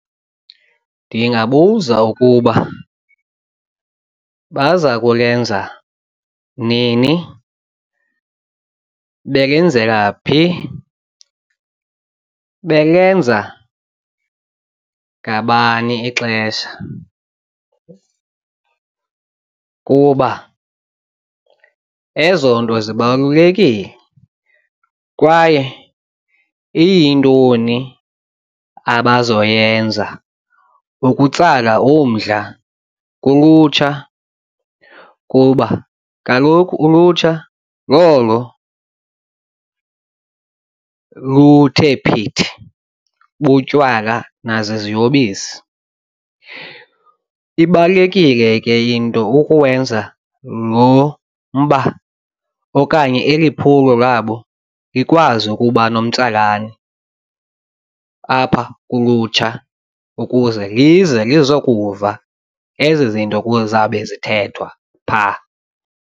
Ndingabuza ukuba baza kulenza nini belenzela phi belenza ngabani ixesha kuba ezo nto zibalulekile kwaye iyintoni abazawuyenza ukutsala umdla kulutsha. Kuba kaloku ulutsha lolo luthe phithi butywala nazo ziyobisi, ibalulekile ke into ukuwenza lo mba okanye kanye eli phulo labo likwazi ukuba nomtsalane apha kulutsha ukuze lize lizokuva ezi zinto kuzawube zithethwa phaa.